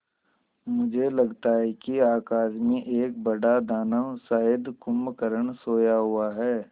मुझे लगता है कि आकाश में एक बड़ा दानव शायद कुंभकर्ण सोया हुआ है